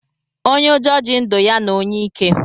Onye ụjọ ji ndụ ya na onye ike